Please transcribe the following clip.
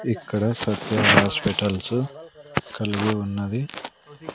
ఇక్కడ సత్య హాస్పిటల్సు కల్గి ఉన్నది.